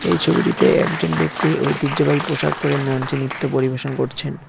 এই ছবিটিতে একজন ব্যক্তি ঐতিহ্যবাহী পোশাক পরে মঞ্চে নৃত্য পরিবেশন করছেন।